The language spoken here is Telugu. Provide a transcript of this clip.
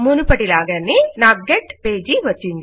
మునుపటి లాగానే నా గెట్పేజీ వచ్చింది